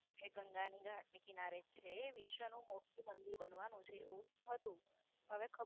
એ ગંગા ના ઘાટ ને કિનારે છે. વિશ્વ નું સૌથી મોટું મંદિર બનવાનું છે. એવું હતું હવે હતું